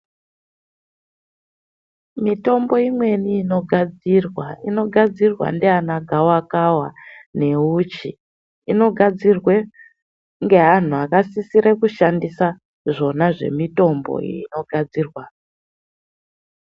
Mitombo imweni inogadzirwa inogadzirwa ndiana gawakawa neuchi. Inogadzirwe ngeanhu akasisire kushandisa zvona zvemitombo iyi inogadzirwa.